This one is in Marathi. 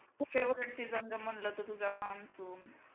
म्हणलं तर तुझा monsoon